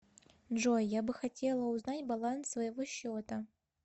джой я бы хотела узнать баланс своего счета